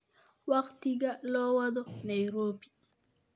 wakhtiga loo wado nairobi